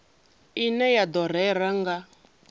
ine ya do rera nga